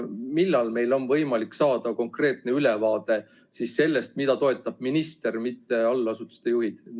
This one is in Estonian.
Millal meil on võimalik saada konkreetne ülevaade sellest, mida toetab minister, mitte allasutuste juhid?